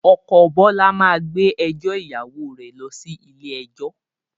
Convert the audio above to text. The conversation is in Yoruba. Ọkọ̀ Bọlá máa gbé ẹjọ́ ìyàwó rẹ lọ sí ilé ẹjọ́